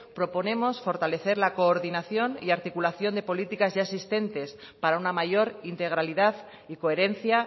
proponemos fortalecer la coordinación y articulación de políticas ya existentes para una mayor integralidad y coherencia